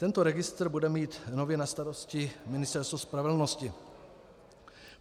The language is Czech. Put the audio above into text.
Tento registr bude mít nově na starosti Ministerstvo spravedlnosti.